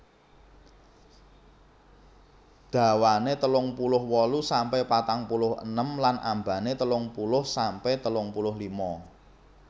Dhawane telung puluh wolu sampe patang puluh enem lan ambane telung puluh sampe telung puluh lima